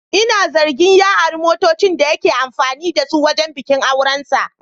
Ina zargin ya ari motocin da yake amfani da su wajen bikin aurensa.